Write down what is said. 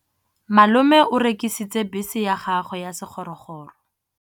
Malome o rekisitse bese ya gagwe ya sekgorokgoro.